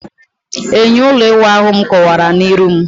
Enyo ulo iwu ahu m kuwara na-iru m